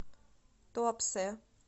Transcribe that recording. туапсе